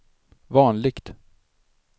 vanligt